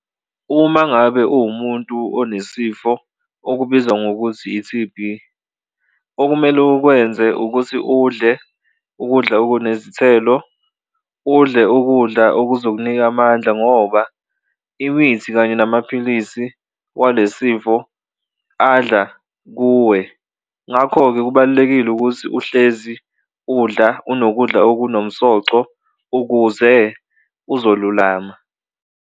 Uma ngabe uwumuntu onesifo okubizwa ngokuthi i-T_B okumele ukwenze ukuthi udle ukudla okunezithelo, udle ukudla okuzokunika amandla ngoba iwithi kanye namaphilisi walesifo adla kuwe ngakho-ke, kubalulekile ukuthi uhlezi udla unokudla okunomsoco ukuze uzolulama.